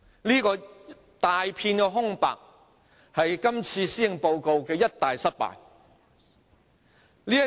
這一大片空白是這份施政報告的一大失敗之處。